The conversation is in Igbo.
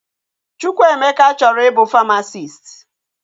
Chukwuemeka chọrọ ị bụ famasisti